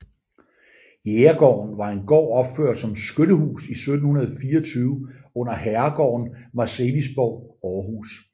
Jægergården var en gård opført som skyttehus i 1724 under herregården Marselisborg i Aarhus